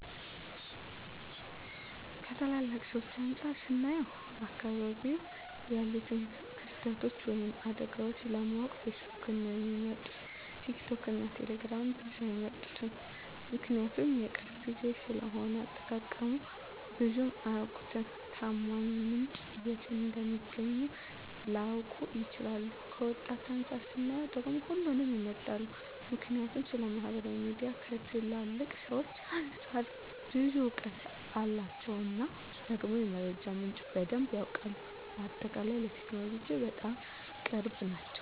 ከትላልቅ ሰዎች አንፃር ስናየው በአካባቢው ያሉትን ክስተቶች ወይም አደጋዎችን ለማወቅ ፌስቡክን ነው ሚመርጡት ቲክቶክን እና ቴሌግራምን ብዙም አይመርጡትም ምክንያቱም የቅርብ ጊዜ ስለሆነ አጠቃቀሙን ብዙም አያውቁትም፣ ታማኝ ምንጭን የት እንደሚያገኙት ላያውቁ ይችላሉ። ከወጣቶች አንፃር ስናየው ደግሞ ሁሉንም ይመርጣሉ ምክንያቱም ስለማህበራዊ ሚዲያ ከትላልቅ ሰዎች አንፃር ብዙ እውቀት አላቸው እና ደግሞ የመረጃ ምንጩም በደንብ ያውቃሉ። በአጠቃላይ ለቴክኖሎጂ በጣም ቅርብ ናቸው